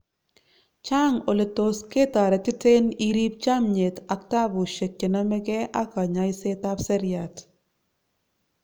chang oletus ketaretiten irip chamiet ak tabushek chenamegei ak kanyaishet ap seriat